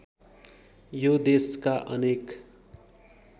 यो देशका अनेक